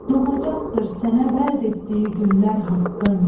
Doğacaqdır sənə vəd etdiyi günlər haqqın.